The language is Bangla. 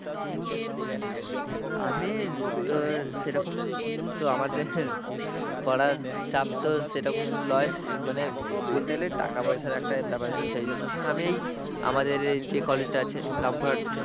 আমি তো সেরকম তো আমাদের পড়ার চাপ তো সেরকম লয় মানে বলতে টাকা পয়সার একটা ব্যাপার আছে সেই জন্য ধর আমি এই আমাদের যে কলেজটা আছে রামপুরহাট,